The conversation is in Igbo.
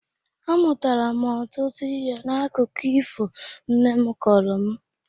Amụtara m ọtụtụ ihe n’akụkọ ifo nne m kọrọ m